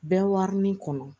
Bɛɛ warani kɔnɔ